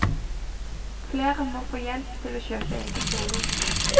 Flere må få hjelp til å kjøpe egen bolig.